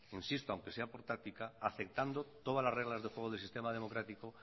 insisto aunque sea por táctica aceptando todas las reglas de juego del sistema democrático